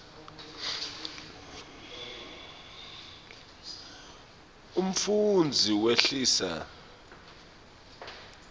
umfundzi wehlisa